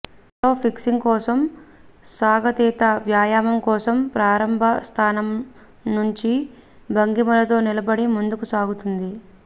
మూలలో పికింగ్స్ కోసం సాగతీత వ్యాయామం కోసం ప్రారంభ స్థానం మంచి భంగిమలతో నిలబడి ముందుకు సాగుతుంది